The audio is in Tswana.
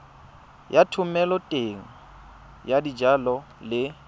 ya thomeloteng ya dijalo le